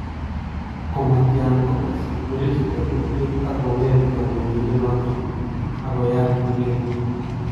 Komatyan kokas kokwere chito kurket ak kong'et kanetindet noto ak koyaat kurket.